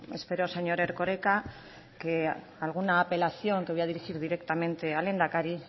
espero señor erkoreka que alguna apelación que voy a dirigir directamente al lehendakari